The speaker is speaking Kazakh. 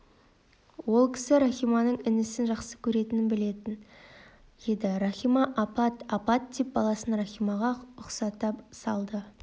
ол кісі рахиманың інісін жақсы көретінін білетін еді рахима апат апат деп баласын рахимаға ұстата салды